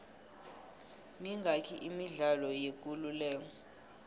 mingaki imidlalo yekuleleko